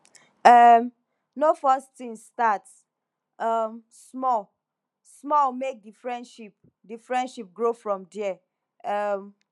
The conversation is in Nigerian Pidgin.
um no force things start um small small make di friendship di friendship grow from there um